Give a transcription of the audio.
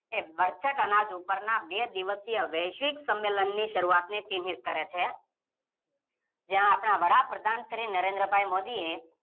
બરછટ અનાજ ઉપરના બે દિવસય વૈશ્વિક સંમેલનની શરૂઆત કરે છે જ્યાં આપણા પ્રધાન મંત્રી શ્રી નરેન્દ્ર ભાઈ મોદીએ